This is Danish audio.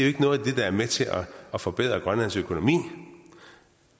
ikke noget af det der er med til at forbedre grønlands økonomi